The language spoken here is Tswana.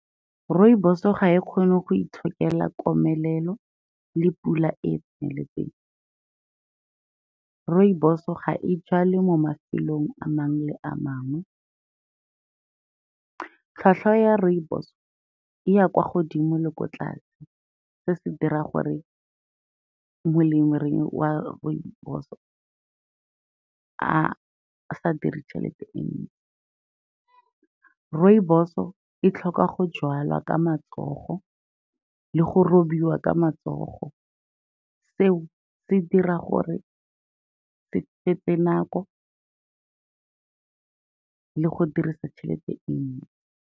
Rooibos-o ga e kgone go itshokela komelelo le pula e e tseneletseng. Rooibos-so ga e jalwe mo mafelong a mangwe le a mangwe. Tlhatlhwa ya rooibos-o e ya kwa godimo le ko tlase, se se dira gore molemirui wa rooibos-o a sa dire tšhelete sentle. Rooibos-o e tlhoka go jalwa ka matsogo le go robiwa ka matsogo, seo se dira gore se nako le go dirisa tšhelete e .